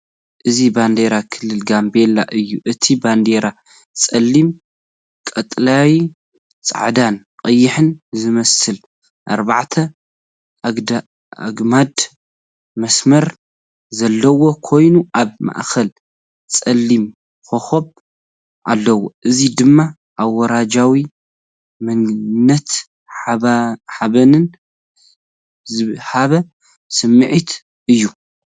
እዚ ባንዴራ ክልል ጋምቤላ እዩ። እታ ባንዴራ ጸሊም፡ ቀጠልያ፡ ጻዕዳን ቀይሕን ዝመስሉ ኣርባዕተ ኣግማድ መስመር ዘለዋ ኮይና፡ ኣብ ማእከላ ጸሊም ኮኾብ ኣለዎ። እዚ ደማ ኣውራጃዊ መንነትን ሓበንን ዝሀብ ስምዒት እዩ ።